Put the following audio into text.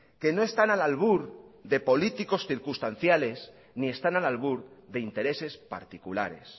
que no están al albur de políticos circunstanciales ni están al albur de intereses particulares